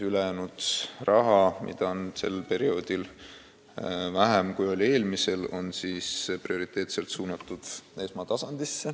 Ülejäänud raha, mida on sel perioodil vähem, kui oli eelmisel, on prioriteetselt suunatud esmatasandi arstiabi arendamiseks.